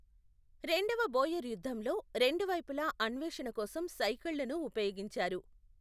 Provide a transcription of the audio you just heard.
రెండవ బోయర్ యుద్ధంలో, రెండు వైపులా అన్వేషణ కోసం సైకిళ్లను ఉపయోగించారు.